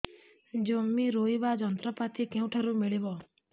ଜମି ରୋଇବା ଯନ୍ତ୍ରପାତି କେଉଁଠାରୁ ମିଳିବ